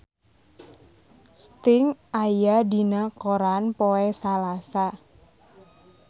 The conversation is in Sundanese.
Sting aya dina koran poe Salasa